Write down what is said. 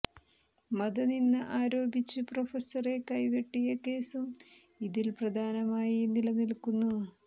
മത നിന്ദ ആരോപിച്ച് പ്രൊഫസറെ കൈവെട്ടിയ കേസും ഇതിൽ പ്രധാനമായി നിലനിൽക്കുന്നു